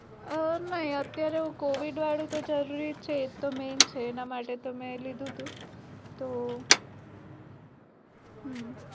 અ નઈ અત્યારે હું covid વાળું તો જરૂરી છે એ તો main એના માટે તો મેં લીધું તું તો